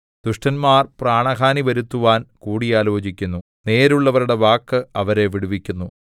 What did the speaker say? ദുഷ്ടന്മാർ പ്രാണഹാനി വരുത്തുവാൻ കൂടിയാലോചിക്കുന്നു നേരുള്ളവരുടെ വാക്ക് അവരെ വിടുവിക്കുന്നു